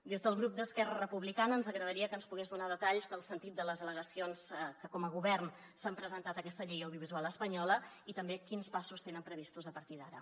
des del grup d’esquerra republicana ens agradaria que ens pogués donar detalls del sentit de les al·legacions que com a govern s’han presentat a aquesta llei audiovisual espanyola i també quins passos tenen previstos a partir d’ara